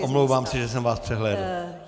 Ano, omlouvám se, že jsem vás přehlédl.